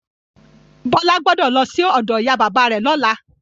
Bọ́lá gbọ́dọ̀ lọsí ọ̀dọ ìyá bàbá rẹ lọ́la.